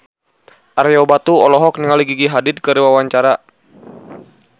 Ario Batu olohok ningali Gigi Hadid keur diwawancara